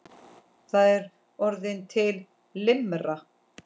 Það er orðin til limra!